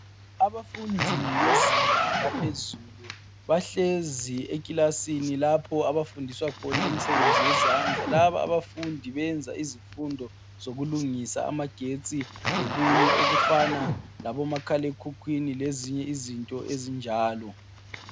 Abafundi bezinga laphezulu bahlezi ekilasini lapho abafundiswa khona imisebenzi yezandla. Laba abafundi benza izifundo zokulungisa amagetsi lokunye okufana labomakhalekhwini lezinye izinto ezinjalo.